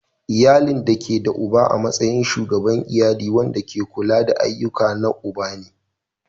Iyali da ke da uba a matsayin Shugaban iyali wanda ke kula da ayyukan na uba ne.